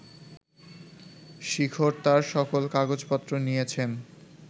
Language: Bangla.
শিখর তার সকল কাগজপত্র নিয়েছেন